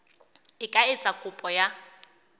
e ka etsa kopo ya